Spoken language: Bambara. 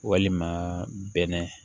Walima bɛnɛ